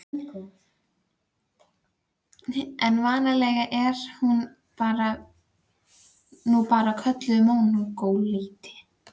En vanalega er hún nú bara kölluð mongólíti.